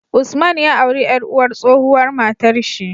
Usman ya auri yar uwar tsohuwar matar shi